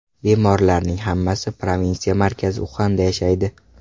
Bemorlarning hammasi provinsiya markazi Uxanda yashaydi.